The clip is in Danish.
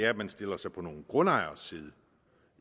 at man stiller sig på nogle grundejeres side